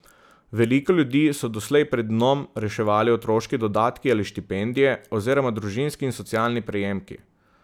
Veliko ljudi so doslej pred dnom reševali otroški dodatki ali štipendije oziroma družinski in socialni prejemki.